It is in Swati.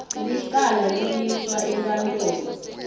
licala liyiswa enkantolo